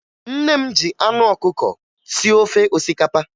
Nne m ji anụ ọkụkọ sie ofe osikapa